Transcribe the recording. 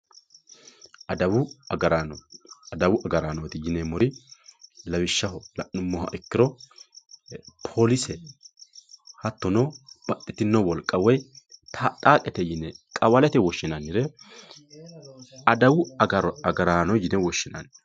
adawu agaraano adawu agaraanooti yineemmori lawishshaho la'nummoha ikkiro poolise hattono baxxitino wolqa woy taaxxaaqete yine qawalete woshshinannire adawu agaraanooti yine woshshinanni.